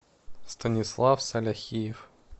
станислав саляхиев